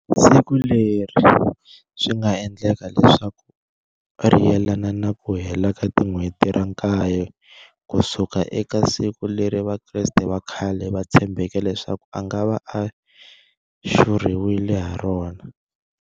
Siku leri swinga endleka leswaku ri yelana na kuhela ka tin'hweti ra nkaye kusuka eka siku leri vakreste vakhale va tshembeke leswaku angava a xurhiwile harona.